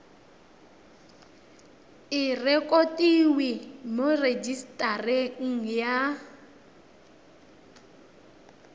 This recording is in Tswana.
e rekotiwe mo rejisetareng ya